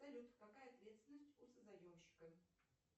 салют какая ответственность у созаемщика